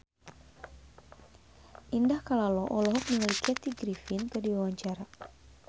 Indah Kalalo olohok ningali Kathy Griffin keur diwawancara